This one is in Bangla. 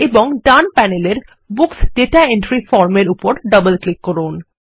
এবং ডান প্যানেলের বুকস দাতা এন্ট্রি Form এর উপর ডবল ক্লিক করুন